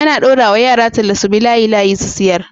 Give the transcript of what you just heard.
ana daura wa yara talla subi layi layi su siyar